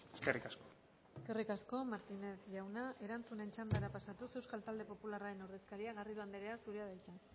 eskerrik asko eskerrik asko martínez jauna erantzunaren txandara pasatuz euskal talde popularraren ordezkaria garrido anderea zurea da hitza